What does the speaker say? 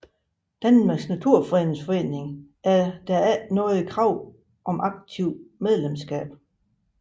Danmarks Naturfredningsforening er der ikke noget krav om aktivt medlemskab